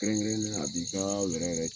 Kɛrɛnkɛrɛnne a b'i ka wɛrɛɛ yɛrɛ ci